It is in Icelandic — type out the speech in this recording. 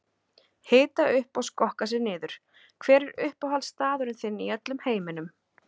Hita upp og skokka sig niður Hver er uppáhaldsstaðurinn þinn í öllum heiminum?